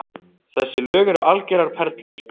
Þessi lög eru algjörar perlur